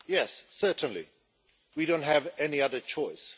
Yes, certainly. We don't have any other choice.